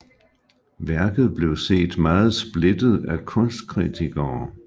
Værket blev set meget splittet af kunstkritikere